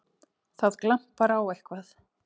Það glampar á eitthvað!